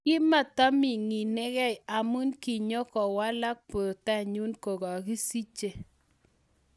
Kimataamininekei Amu kinyokowalak porta nyu kokasikishe.